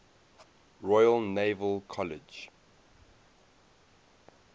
royal naval college